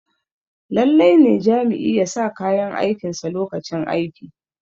lallai ne Jami'i ya sa kayan aikinsa lokacin aiki